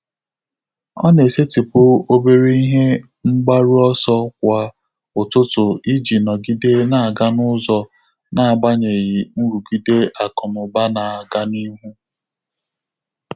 Ọ́ nà-ésétị́pụ̀ óbèré ìhè mg bàrù ọ́sọ́ kwá ụ́tụ́tụ̀ ìjí nọ́gídé n’ágá n’ụ́zọ́ n’ágbànyéghị́ nrụ́gídé ákụ̀ nà ụ́bà nà-ágá n’íhú.